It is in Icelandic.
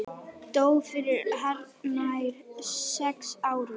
Dó fyrir hartnær sex árum.